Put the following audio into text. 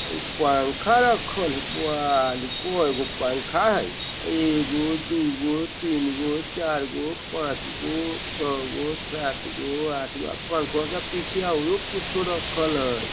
पंखा रखल हय वाह रे कै गो पंखा हय एगो दू गो तीन गो चार गो पाँच गो छ गो सात गो आठ गो आ पंखवा के पिछया आरो कुछो रखल हय।